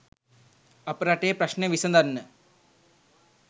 අප රටේ ප්‍රශ්න විසඳන්න